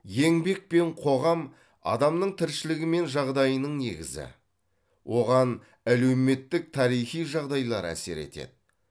еңбек пен қоғам адамның тіршілігі мен жағдайының негізі оған әлеуметтік тарихи жағдайлар әсер етеді